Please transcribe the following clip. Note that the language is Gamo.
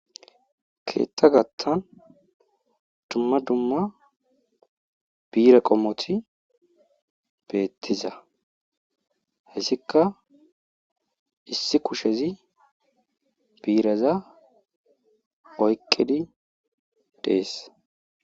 Keeththa gatan dumma dumma bire qommoti beetiza issi kushezi biireza oyqidi dees.